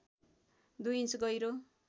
दुई इन्च गहिरो